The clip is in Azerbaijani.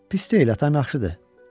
Pis deyil, atan yaxşıdır.